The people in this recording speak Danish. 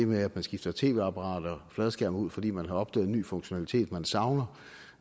med at man skifter tv apparater fladskærme ud fordi man har opdaget en ny funktionalitet man savner